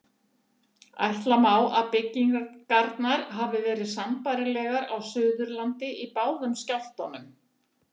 Ætla má að byggingar hafi verið sambærilegar á Suðurlandi í báðum skjálftunum.